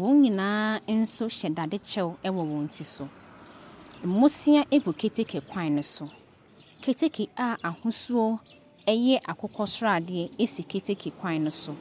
wɔn nyinaa nso hyɛ dadekyɛw wɔ wɔn ti so. Mmosea gu keteke kwan ne so, keteke a ahosuo yɛ akokɔsradeɛ gu keteke kwan ne so.